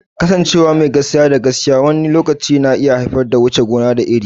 Kasancewa mai gaskiya da gaske wani lokaci na iya haifar da wuce gona da iri.